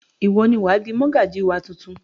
Ìwọ ni wà á di mọ́gàjí wa tuntun!